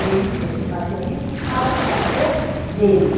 E ele dizia que ele fazia isso para o prazer dele.